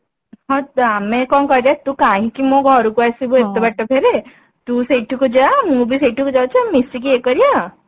ହଁ ଆମେ କଣ କରିବା ତୁ କାହିଁ କି ମୋ ଘରକୁ ଆସିବୁ ଏତେ ବାଟ ଫେରେ ତୁ ସେଇଠିକୁ ଯା ମୁଁ ବି ସେଇଠିକୁ ଯାଉଛି ମିଶିକି ଇଏ କରିବା